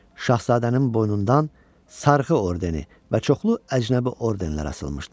Şahzadənin boynundan sarxı ordeni və çoxlu əcnəbi ordenlər asılmışdı.